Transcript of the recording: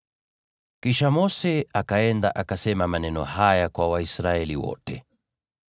Kisha Mose akaenda akasema maneno haya kwa Waisraeli wote: